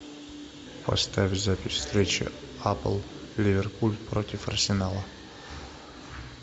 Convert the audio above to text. поставь запись встречи апл ливерпуль против арсенала